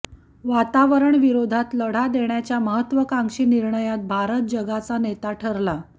वातावरणविरोधात लढा देण्याच्या महत्त्वाकांशी निर्णयात भारत जगाचा नेता ठरला